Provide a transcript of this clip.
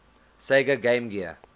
sega game gear